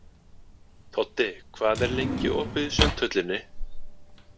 Toddi, hvað er lengi opið í Sundhöllinni?